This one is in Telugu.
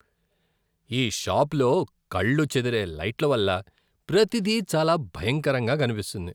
ఈ షాప్లో కళ్ళు చెదిరే లైట్ల వల్ల ప్రతిదీ చాలా భయంకరంగా కనిపిస్తోంది.